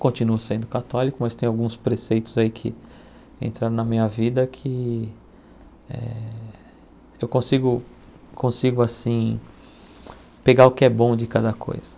Continuo sendo católico, mas tem alguns preceitos aí que entraram na minha vida que eh eu consigo consigo assim pegar o que é bom de cada coisa.